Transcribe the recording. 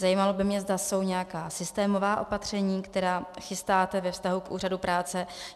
Zajímalo by mě, zda jsou nějaká systémová opatření, která chystáte ve vztahu k Úřadu práce.